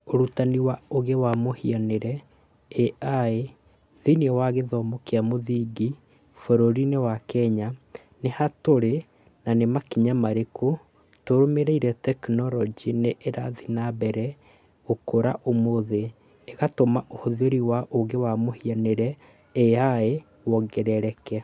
"Ũrutani wa ũũgĩ wa mũhianĩre (AI) thĩinĩ wa gĩthomo kĩa mũthingi bũrũri-inĩ wa Kenya:Nĩ ha tũrĩ na nĩ makinya marĩku tũrũmĩrĩire tekinoronjĩ nĩ ĩrathiĩ na mbere gũkũra ũmũthĩ, ĩgatũma ũhũthĩri wa ũũgĩ wa mũhianĩre (AI) wongerereke"